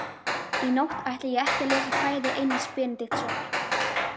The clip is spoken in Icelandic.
Í nótt ætla ég ekki að lesa kvæði Einars Benediktssonar.